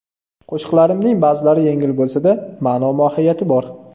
Qo‘shiqlarimning ba’zilari yengil bo‘lsa-da, ma’no-mohiyati bor.